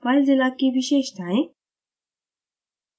filezilla की विशेषताएँ